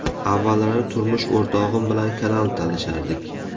Avvallari turmush o‘rtog‘im bilan kanal talashardik.